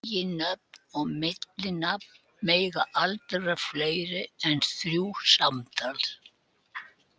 Eiginnöfn og millinafn mega aldrei vera fleiri en þrjú samtals.